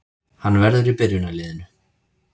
Hann verður í byrjunarliðinu